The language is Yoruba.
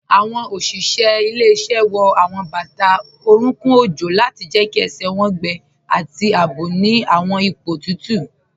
Awọn oṣiṣẹ ilẹ̀-iṣẹ wọ awọn bata oruńkùn ojó lati jẹ́ kí ẹṣẹ wọn gbẹ̀ ati àabò ni awọn ipo tutu